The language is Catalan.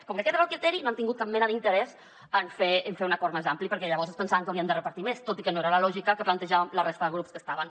com que aquest era el criteri no han tingut cap mena d’interès en fer un acord més ampli perquè llavors es pensaven que haurien de repartir més tot i que no era la lògica que plantejàvem la resta de grups que hi havia